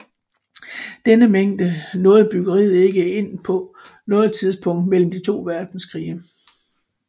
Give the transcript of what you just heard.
Denne mængde nåede bryggeriet ikke igen på noget tidspunkt mellem de to verdenskrige